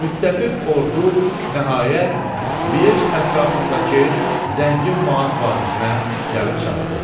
Müttəfiq ordu nəhayət Liej ətrafındakı zəngin Maas vadisinə gəlib çatdı.